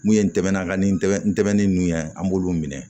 N'u ye ntɛmɛn ka ni tɛmɛn ntɛmɛnin an b'olu minɛ